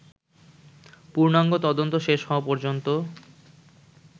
পূর্ণাঙ্গ তদন্ত শেষ হওয়া পর্যন্ত